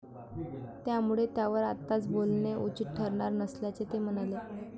त्यामुळे त्यावर आत्ताच बोलणे उचित ठरणार नसल्याचे ते म्हणाले.